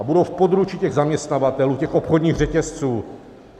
A budou v područí těch zaměstnavatelů, těch obchodních řetězců.